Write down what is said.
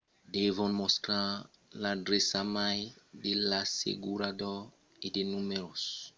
devon mostrar l’adreça mail de l’assegurador e de numèros de telefòn internacionals pels conselhs o autorizations e far de reclamacions